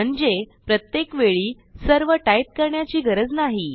म्हणजे प्रत्येक वेळी सर्व टाईप करण्याची गरज नाही